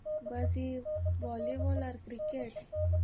Bus ୟେ volleyball ଆଉ cricket?